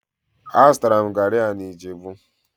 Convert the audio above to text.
Azụtara m garri a na ijebu